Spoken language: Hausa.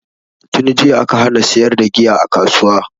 Tunjiya aka hana siyar da giya a kasuwa